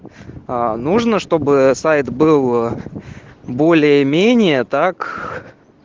аа нужно чтобы сайт был более-менее так